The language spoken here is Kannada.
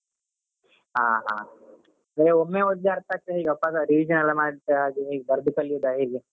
ಹ ಹಾ ನಿಮ್ಗೆ ಒಬ್ನೇ ಓದಿದ್ರೆ ಅರ್ಥ ಆಗ್ತದ ಹೇಗೆ revision ಎಲ್ಲ ಮಾಡಿ ಬರ್ದ್ ಕಲೀಯುದ ಹೇಗೆ?